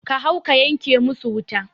Ka hau ka yanke musu wuta